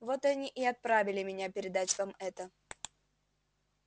вот они и отправили меня передать вам это